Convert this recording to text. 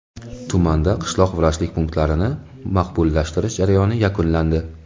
Tumanda qishloq vrachlik punktlarini maqbullashtirish jarayoni yakunlandi.